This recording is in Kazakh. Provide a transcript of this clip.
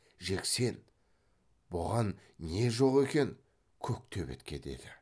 жексен бұған не жоқ екен көк төбетке деді